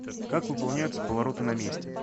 как выполняются повороты на месте